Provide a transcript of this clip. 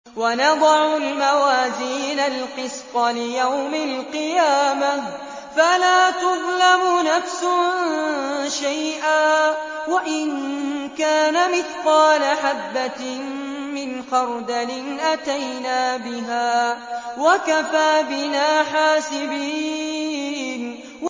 وَنَضَعُ الْمَوَازِينَ الْقِسْطَ لِيَوْمِ الْقِيَامَةِ فَلَا تُظْلَمُ نَفْسٌ شَيْئًا ۖ وَإِن كَانَ مِثْقَالَ حَبَّةٍ مِّنْ خَرْدَلٍ أَتَيْنَا بِهَا ۗ وَكَفَىٰ بِنَا حَاسِبِينَ